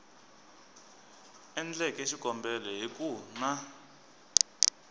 endleke xikombelo hi ku n